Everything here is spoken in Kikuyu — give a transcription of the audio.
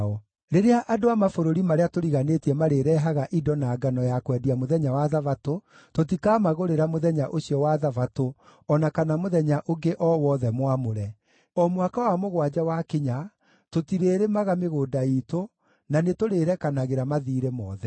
“Rĩrĩa andũ a mabũrũri marĩa tũriganĩtie marĩrehaga indo na ngano ya kwendia mũthenya wa Thabatũ, tũtikamagũrĩra mũthenya ũcio wa Thabatũ o na kana mũthenya ũngĩ o wothe mwamũre. O mwaka wa mũgwanja wakinya tũtirĩrĩmaga mĩgũnda iitũ, na nĩtũrĩĩrekanagĩra mathiirĩ mothe.